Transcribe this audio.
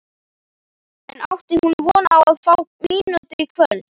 En átti hún von á að fá mínútur í kvöld?